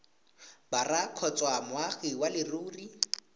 borwa kgotsa moagi wa leruri